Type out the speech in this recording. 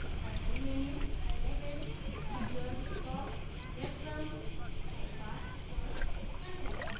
primary menu highlighted featured top breadcrumb sidebar first content